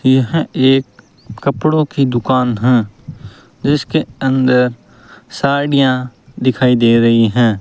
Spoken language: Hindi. यह एक कपड़ों की दुकान है जिसके अंदर साड़ियां दिखाई दे रही हैं।